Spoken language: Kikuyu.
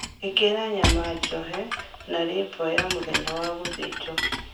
Ĩkĩra nyama njohe na lĩbo ya mũthenya wa gũthĩnjwo